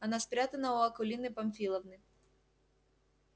она спрятана у акулины памфиловны